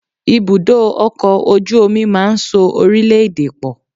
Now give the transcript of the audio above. Ibùdó ọkọ̀ ojú omi máa ń so orílẹ̀-èdè pọ̀.